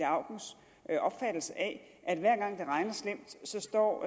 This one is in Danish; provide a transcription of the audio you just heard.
jeg opfattelse af at hver gang det regner slemt står